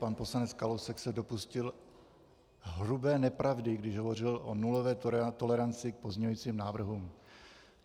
Pan poslanec Kalousek se dopustil hrubé nepravdy, když hovořil o nulové toleranci k pozměňovacím návrhům.